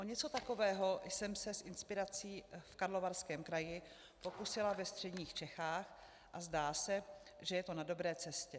O něco takového jsem se s inspirací v Karlovarském kraji pokusila ve středních Čechách a zdá se, že je to na dobré cestě.